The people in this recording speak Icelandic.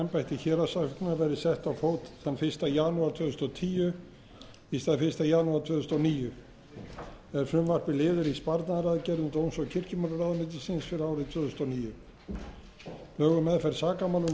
þúsund og tíu í stað fyrsta janúar tvö þúsund og níu er frumvarpið liður í sparnaðaraðgerðum dóms og kirkjumálaráðuneytis fyrir árið tvö þúsund og níu lög um meðferð sakamála númer áttatíu og átta tvö þúsund og átta taka gildi